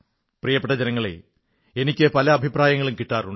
പ്രിയപ്പെട്ട ജനങ്ങളേ എനിക്ക് പല അഭിപ്രായങ്ങളും കിട്ടാറുണ്ട്